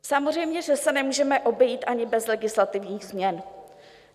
Samozřejmě že se nemůžeme obejít ani bez legislativních změn.